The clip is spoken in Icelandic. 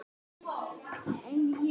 Þá leið mér illa.